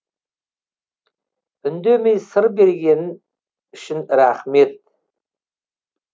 үндемей сыр бергенін үшін рахмет